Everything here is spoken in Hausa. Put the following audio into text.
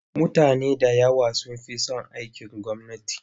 Mutane da yawa sun fi son aikin gwamnati.